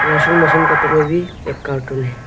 Washing machine कपड़े में भी एक कार्टून है।